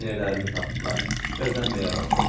Eynəklərini taxdılar, bəzənməyə başladılar.